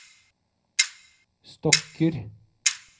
stokker